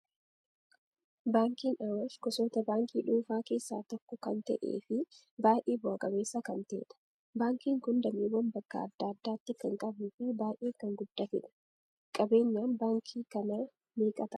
Baankiin Awaash gosoota baankii dhuunfaa keessaa tokko kan ta'ee fi baay'ee bu'aa qabeessa kan ta'edha. Baankiin kun dameewwan bakka adda addaatti kan qabuu fi baay'ee kan guddatedha. Qabeenyaan baankii kanaa meeqa ta'aa?